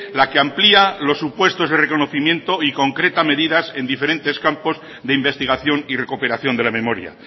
la que amplía los supuestos de reconocimiento y concreta medidas en diferentes campos de investigación y recuperación de la memoria